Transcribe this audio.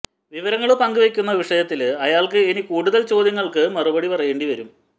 വിവരങ്ങള് പങ്കുവെക്കുന്ന വിഷയത്തില് അയാള്ക്ക് ഇനി കൂടുത ചോദ്യങ്ങള്ക്ക് മറുപടി പറയേണ്ടിവരും